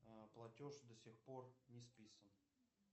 платеж до сих пор не списан